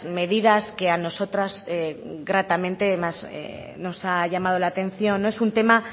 medidas que a nosotras gratamente más nos ha llamado la atención es un tema